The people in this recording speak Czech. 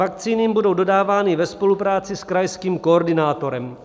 Vakcíny jim budou dodávány ve spolupráci s krajským koordinátorem.